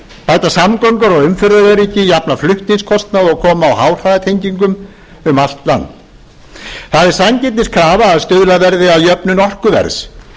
bæta samgöngur og umferðaröryggi jafna flutningskostnað og koma á háhraðatengingum um allt land það er sanngirniskrafa að stuðlað verði að jöfnun orkuverðs